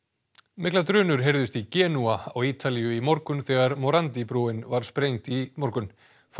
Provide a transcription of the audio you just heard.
miklar drunur heyrðust í Genúa á Ítalíu í morgun þegar morandi brúin var sprengd í morgun